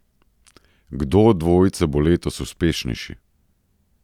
Kdo od dvojice bo letos uspešnejši?